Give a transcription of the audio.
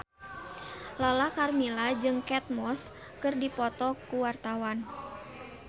Lala Karmela jeung Kate Moss keur dipoto ku wartawan